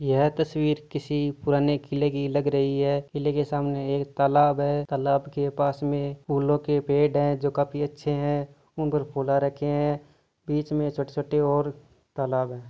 यह तस्वीर किसी पुराने किले लग रही हैकिले के सामने एक तालाब है तालाब के पास में फूलो के पेड़ है जोकि काफी अच्छे है उनप पर फुला आ रखे है बीच छोटी छोटी और तालाब है।